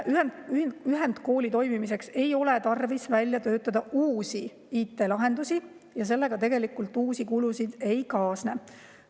Ühendkooli toimimiseks ei ole tarvis välja töötada uusi IT‑lahendusi ja sellega tegelikult uusi kulusid ei kaasne.